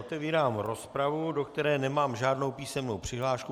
Otevírám rozpravu, do které nemám žádnou písemnou přihlášku.